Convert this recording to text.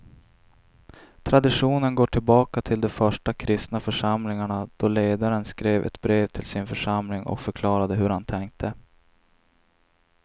Traditionen går tillbaka till de första kristna församlingarna då ledaren skrev ett brev till sin församling och förklarade hur han tänkte.